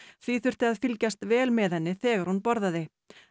því þurfti að fylgjast vel með henni þegar hún borðaði